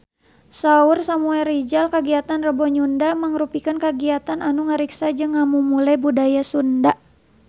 Saur Samuel Rizal kagiatan Rebo Nyunda mangrupikeun kagiatan anu ngariksa jeung ngamumule budaya Sunda